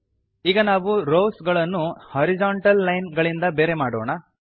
ಈಗ ನಾವು ರೋವ್ಸ್ ಗಳನ್ನು ಹಾರಿಜೊಂಟಲ್ ಲೈನ್ ಗಳಿಂದ ಬೇರೆ ಮಾಡೋಣ